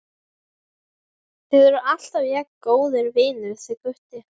Þið eruð alltaf jafn góðir vinir þið Gutti?